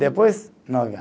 Depois, nove ano.